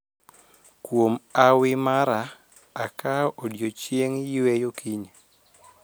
Kuom hawi mara akao odiechieng' yweyo kiny